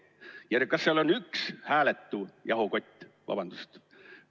Ükskõik, kas seal on üks hääletu jahukott – vabandust!